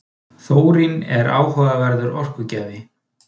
Þórín er áhugaverður orkugjafi.